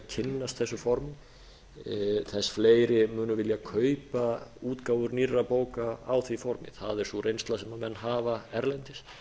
kynnast þessum formum þess fleiri munu vilja kaupa útgáfur nýrra bóka á því formi það er sú reynsla sem menn hafa erlendis